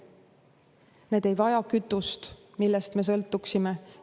Need ei vaja kütust, millest me sõltuksime.